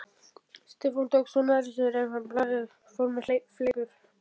Stefán tók svo nærri sér ef blaðið fór með fleipur.